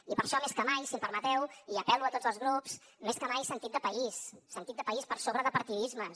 i per això més que mai si em permeteu i apel·lo a tots els grups més que mai sentit de país sentit de país per sobre de partidismes